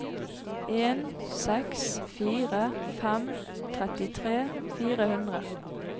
en seks fire fem trettitre fire hundre